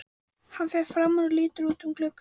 Hann fer fram úr og lítur út um gluggann.